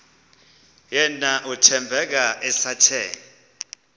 yena uthembeka esathe